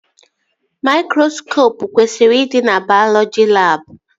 Maikroskopụ kwesịrị ịdị na baiọlọji labụ